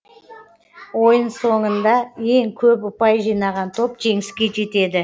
ойын соңында ең көп ұпай жинаған топ жеңіске жетеді